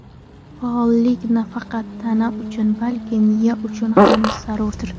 Faollik nafaqat tana uchun, balki miya uchun ham zarurdir.